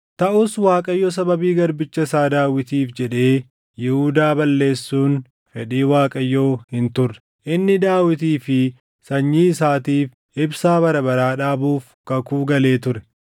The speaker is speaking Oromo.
Taʼus Waaqayyo sababii garbicha isaa Daawitiif jedhee Yihuudaa balleessuun fedhii Waaqayyoo hin turre. Inni Daawitii fi sanyii isaatiif ibsaa bara baraa dhaabuuf kakuu galee ture.